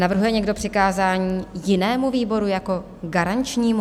Navrhuje někdo přikázání jinému výboru jako garančnímu?